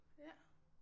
Ja